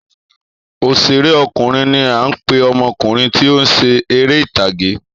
Òṣèré ọkùnrin ní a ń pe ọmọkùnrin tí ọ ń ṣe eré ìtàge